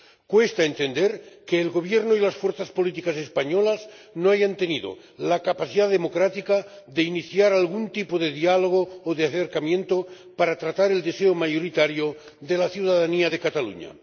Cuesta entender que el Gobierno y las fuerzas políticas españolas no hayan tenido la capacidad democrática de iniciar algún tipo de diálogo o de acercamiento para tratar el deseo mayoritario de la ciudadanía de Cataluña.